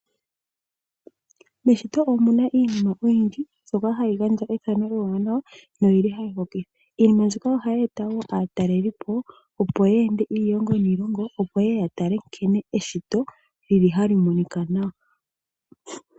Meshito omuna iinima oyindji mbyoka hayi gandja ethano ewanawa no yili hayi hokitha. Iinima mbika oyili wo hayi etitha aatalelipo opo yeende iilongo niilongo, opo yeye ya tale nkene lili hali monika nawa.